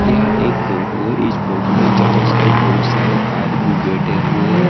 यह एक फोटो है इस फोटो में चारों साइड बहोत सारे आदमी बैठे हुए हैं।